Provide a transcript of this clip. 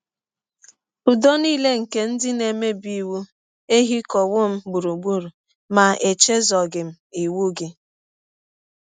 Ụdọ nile nke ndị na - emebi iwụ ehikọwọ m gbụrụgbụrụ; ma echezọghị m iwụ gị. ”